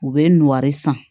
U bɛ n'o de san